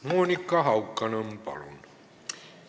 Monika Haukanõmm, palun!